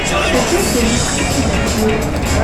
включай фильм скрытые фигуры